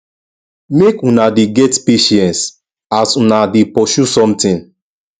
make una dey get patience as una dey pursue somtin